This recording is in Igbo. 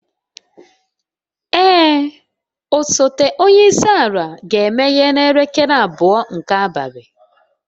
Ee, osote onye isi ala ga-emeghe n'elekere abụọ nke abalị.